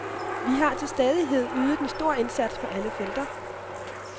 Vi har til stadighed ydet en stor indsats på alle felter.